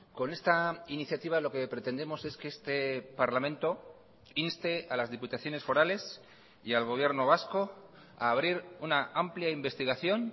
con esta iniciativa lo que pretendemos es que este parlamento inste a las diputaciones forales y al gobierno vasco a abrir una amplia investigación